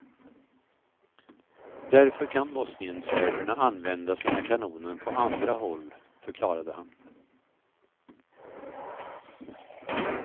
Därför kan bosnienserberna använda sina kanoner på andra håll, förklarade han.